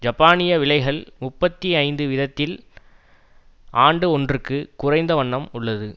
ஜப்பானிய விலைகள் முப்பத்தி ஐந்து வீதத்தில் ஆண்டு ஒன்றுக்கு குறைந்த வண்ணம் உள்ளது